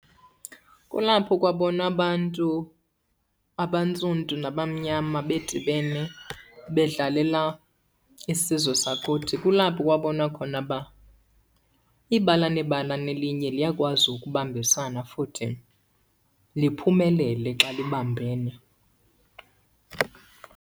Kulapho kwabonwa abantu abantsundu nabamnyama bedibene bedlalela isizwe sakuthi. Kulapho kwabonwa khona uba ibala nebala nelinye liyakwazi ukubambisana futhi liphumelele xa libambene.